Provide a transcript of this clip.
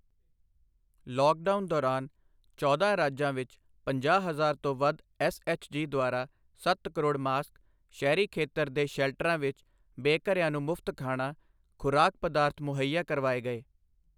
lockdown ਦੌਰਾਨ ਚੌਦਾਂ ਰਾਜਾਂ ਵਿੱਚ ਪੰਜਾਹ ਹਜ਼ਾਰ ਤੋਂ ਵੱਧ ਐਸਐਚਜੀ ਦੁਆਰਾ ਸੱਤ ਕਰੋੜ ਮਾਸਕ, ਸ਼ਹਿਰੀ ਖ਼ੇਤਰ ਦੇ ਸ਼ੈਲਟਰਾਂ ਵਿੱਚ ਬੇਘਰਿਆਂ ਨੂੰ ਮੁਫਤ ਖਾਣਾ, ਖੁਰਾਕ ਪਦਾਰਥ ਮੁਹੱਈਆ ਕਰਵਾਏ ਗਏ